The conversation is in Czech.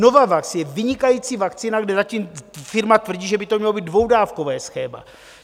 Novavax je vynikající vakcína, kde zatím firma tvrdí, že by to mělo být dvoudávkové schéma.